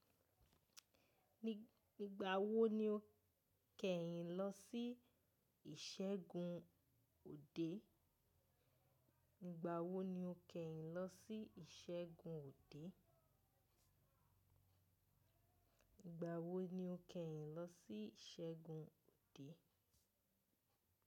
Igbà wo ni o kẹ́yìn lọ sí ìṣẹ́gun ode òde?